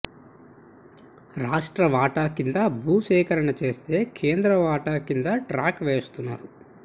రాష్ట్ర వాటా కింద భూ సేకరణ చేస్తే కేంద్ర వాటా కింద ట్రాక్ వేస్తున్నారు